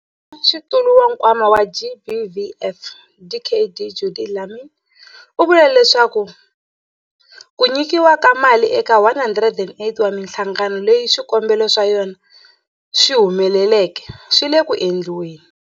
Mutshamaxitulu wa Nkwama wa GBVF, Dkd Judy Dlamini, u vule leswaku ku nyikiwa ka mali eka 108 wa mihlangano leyi swikombelo swa yona swi humeleleke swi le ku endliweni.